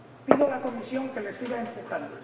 pido a la Comisión que les siga empujando.